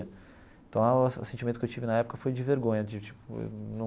Então, o sentimento que eu tive na época foi de vergonha, de tipo, não.